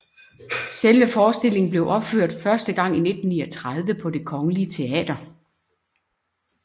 Selve forestillingen blev opført første gang i 1839 på Det Kongelige Teater